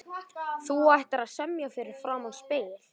Þú ættir að semja fyrir framan spegil.